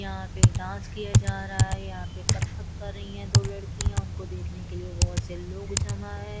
यहां पे डांस किया जा रहा है यहां पे कत्थक कर रही है दो लड़कियां उनको देखने के लिए बहोत से लोग जमां हैं।